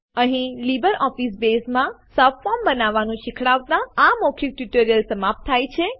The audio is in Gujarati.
અહીં લીબરઓફીસ બેઝમાં સબફોર્મ બનાવવાનું શીખવાડતાં આ મૌખિક ટ્યુટોરીયલ સમાપ્ત થાય છે